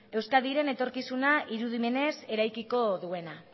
euskadiren etorkizuna irudimenez eraikiko duena